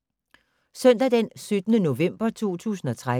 Søndag d. 17. november 2013